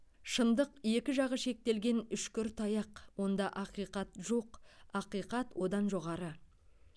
шындық екі жағы шектелген үшкір таяқ онда ақиқат жоқ ақиқат одан жоғары